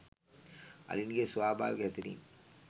අලින්ගේ ස්වභාවික හැසිරීම්